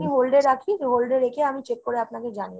hold এ রাখি ? hold এ রেখে আমি check করে আপনাকে জানিয়ে দিচ্ছি।